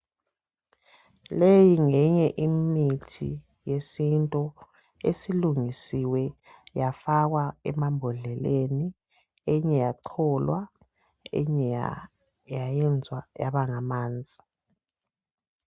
Leyi ngeyinye imithi yesintu esilungisiwe yafakwa emabhodleleni eyinye yacholwa eyinye yayenzwa yaba ngamanzi.